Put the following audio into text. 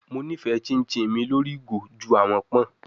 Mo nifẹ chinchin mi lori igo ju awọn pọn